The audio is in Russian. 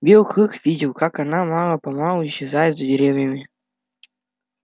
белый клык видел как она мало помалу исчезает за деревьями